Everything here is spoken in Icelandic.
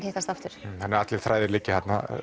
hittast aftur þannig allir þræði liggja þarna